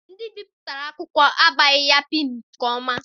Ndị bipụtara akwụkwọ agbaghị ya pịịnụ nke ọma.